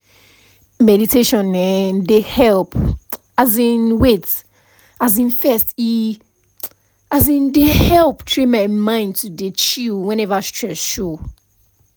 meditation[um]dey help um wait um first e um dey help train my mind to dey chill whenever stress show